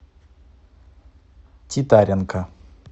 титаренко